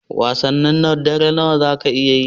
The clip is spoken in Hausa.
Wasannin dare nawa zaka iya yi?